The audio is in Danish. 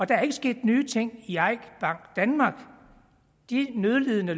der er ikke sket nye ting i eik bank danmark de nødlidende